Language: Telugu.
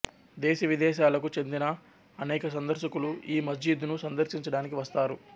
దేశవిదేశాలకు చెందినా అనేక సందర్శకులు ఈ మస్జిద్ ను సందర్శించడానికి వస్తారు